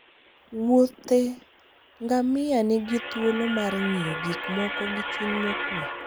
wuothe ngamia nigi thuolo mar ng'iyo gik moko gi chuny mokwe